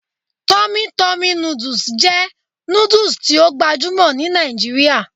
Tummy Tummy noodles jẹ nudus ti o gbajumo ni Nigeria